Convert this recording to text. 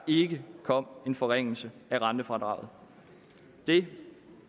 ikke kom en forringelse af rentefradraget det